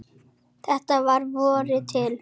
Þetta var að vori til.